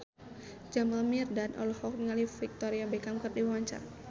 Jamal Mirdad olohok ningali Victoria Beckham keur diwawancara